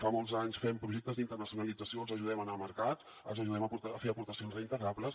fa molts anys que fem projectes d’internacionalització els ajudem a anar a mercat els ajudem a fer aportacions reintegrables